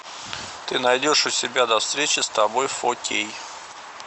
ты найдешь у себя до встречи с тобой фо кей